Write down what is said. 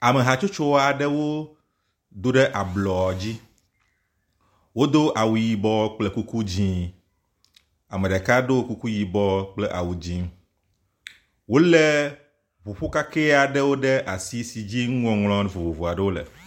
Ame hatsotso aɖewo do ɖe ablɔ dzi. Wodo awu yibɔ kple kuku dzĩ. Ame ɖeka ɖo kuku yibɔ kple awu dzĩ. Wolé ŋuƒo kakɛ aɖewo ɖe asi si dzi nuŋɔŋlɔ vovovo aɖewo le.